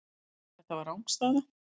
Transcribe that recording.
Þetta var rangstæða.